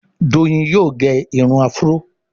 Doyin yóò gé Irun afro.